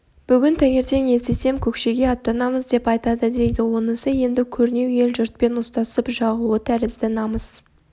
бүгін таңертең естісем көкшеге аттанамыз деп айтады дейді онысы енді көрнеу ел-жұртпен ұстасып жауығу тәрізді намыс